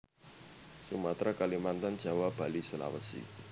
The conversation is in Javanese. Sumatera Kalimantan Jawa Bali Sulawesi